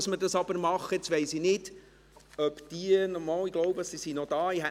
Ich bin nicht sicher, ob sie noch da sind.